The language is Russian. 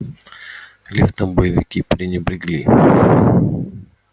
лифтом боевики пренебрегли